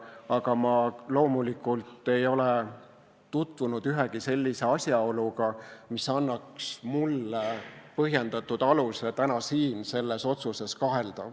Aga ma loomulikult ei ole tutvunud ühegi sellise asjaoluga, mis annaks mulle põhjendatud aluse täna siin selles otsuses kahelda.